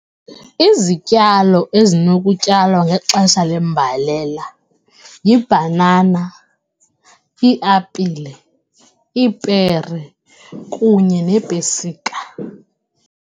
Izityalo ezinokutyalwa ngexesha lembalela yibhanana, iiapile, iipere kunye neepesika.